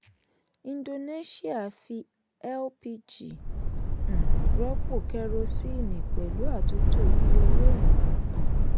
indonesia fi lpg um rọ́pò kerosene pẹ̀lú àtúntò yíyọ owó ìrànwọ́. um